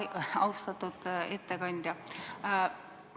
Austatud ettekandja!